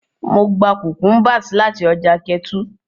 Mo gba cucumbers lati ọja Ketu.